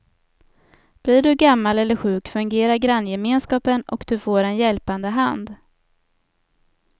Blir du gammal eller sjuk fungerar granngemenskapen och du får en hjälpande hand.